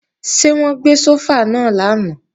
Ṣé wọ́n gbé sófà náà lánàá?